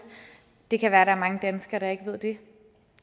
det kan være at der er mange danskere der ikke ved det